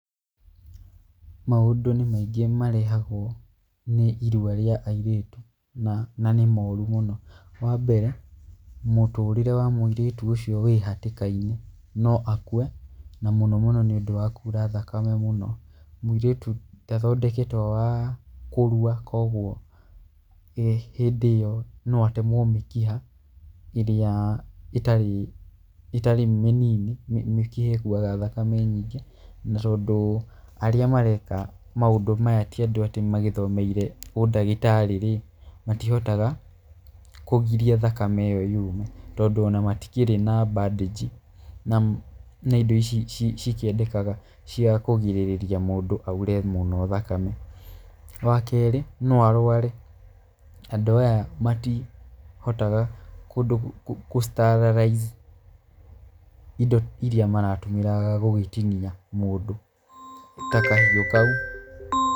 Maũndũ nĩ maingĩ marehagwo nĩ irua rĩa airĩtu na, na nĩ moru mũno. Wambere mũtũrĩre wa mũirĩtu ũcio wĩhatĩka-inĩ, no akue na mũno mũno nĩũndũ wa kura thakame mũno. Mũirĩtu ndathondeketwo wa kũrua kwoguo hĩndĩ ĩyo no atemwo mĩkiha ĩrĩa ĩtarĩ ĩtarĩ mĩnini, mĩkiha ĩkuaga thakame nyingĩ, na tondũ arĩa mareka maũndũ maya ti andũ atĩ magĩthomeire ũndagĩtarĩ-rĩ, matihotaga kũgiria thakame ĩyo yume, tondũ ona matikĩrĩ na mbandĩnji na na indo ici cikĩendekaga cia kũgirĩrĩria mũndũ aure mũno thakame. Wakerĩ, no arware. Andũ aya matihotaga kũ sterilize indo iria maratũmĩra gũgĩtinia mũndũ, ta kahiũ kau.